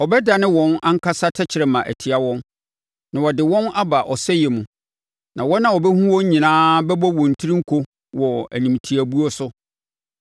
Ɔbɛdane wɔn ankasa tɛkrɛma atia wɔn na ɔde wɔn aba ɔsɛeɛ mu; na wɔn a wɔbɛhunu wɔn nyinaa bɛbɔ wɔn tiri nko wɔ animtiabuo so.